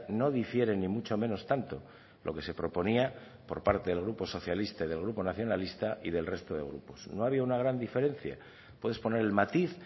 no difiere ni mucho menos tanto lo que se proponía por parte del grupo socialista y del grupo nacionalista y del resto de grupos no había una gran diferencia puedes poner el matiz